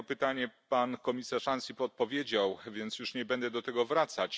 Na jedno pytanie pan komisarz Ansip odpowiedział, więc już nie będę do tego wracać.